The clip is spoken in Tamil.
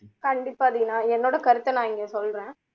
கண்டிப்பா தீனா என்னோட கருத்தை நான் இங்க சொல்றேன்